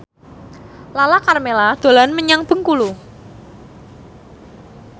Lala Karmela dolan menyang Bengkulu